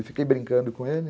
E fiquei brincando com ele.